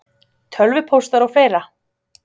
Tölvupóstar og fleira?